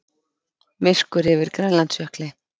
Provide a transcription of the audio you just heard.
Myrkur yfir Grænlandsjökli.